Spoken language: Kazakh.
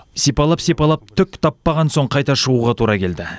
сипалап сипалап түк таппаған соң қайта шығуға тура келді